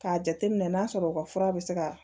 K'a jateminɛ n'a sɔrɔ u ka fura bɛ se ka